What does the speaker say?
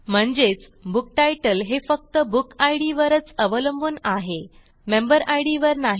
म्हणजेच बुक्तीतले हे फक्त बुक इद वरच अवलंबून आहे मेंबर इद वर नाही